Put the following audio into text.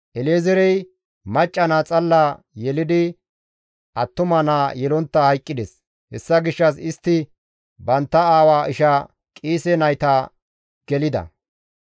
El7ezeerey macca naa xalla yelidi attuma naa yelontta hayqqides; hessa gishshas istti bantta aawa isha Qiise nayta gelida.